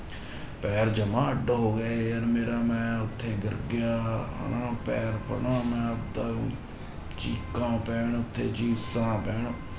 ਪੈਰ ਜਮਾਂ ਅੱਢ ਹੋ ਗਿਆ ਯਾਰ ਮੇਰਾ ਮੈਂ ਉੱਥੇ ਗਿਰ ਗਿਆ ਹਨਾ, ਪੈਰ ਹਨਾ ਮੈਂ ਆਪਦਾ ਚੀਕਾਂ ਪੈਣ ਤੇ ਚੀਸਾਂ ਪੈਣ।